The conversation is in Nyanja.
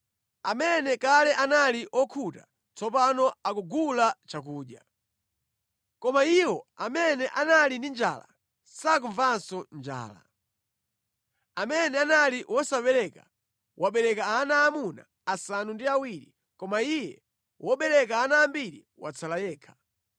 Amene kale anali okhuta tsopano akukagula chakudya, koma iwo amene anali ndi njala sakumvanso njala. Amene anali wosabereka, wabereka ana aamuna asanu ndi awiri, koma iye wobereka ana ambiri watsala yekha.